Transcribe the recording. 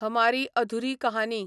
हमारी अधुरी कहानी